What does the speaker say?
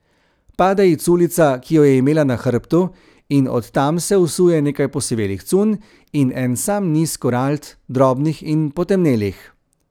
Pade ji culica, ki jo je imela na hrbtu, in od tam se usuje nekaj posivelih cunj in en sam niz korald, drobnih in potemnelih.